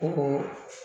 Ko